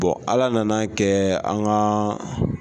ala nana kɛ an kaaa.